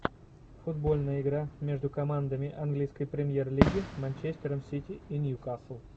футбольная игра между командами английской премьер лиги манчестером сити и ньюкасл